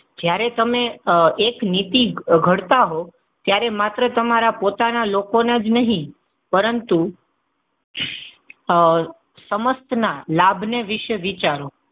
જ્યારે તમે આહ એક નીતિ ઘડતા હો ત્યારે તમે માત્ર તમારા પોતાના લોકોને જ નહીં પરંતુ આહ સમસ્ત ના લાભને વિશે વિચારો.